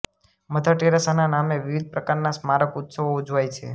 mother ટેરેસાના નામે વિવિધ પ્રકારના સ્મારક ઉત્સવો ઉજવાય છે